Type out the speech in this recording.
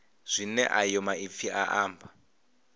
zwine ayo maipfi a amba